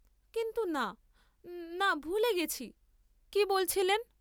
কিন্তু না, না, ভুলে গেছি, কি বলছিলেন?